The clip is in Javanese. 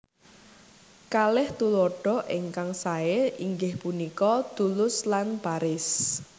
Kalih tuladha ingkang saé inggih punika Toulouse lan Paris